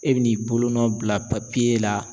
E bɛ n'i bolonɔ bila la.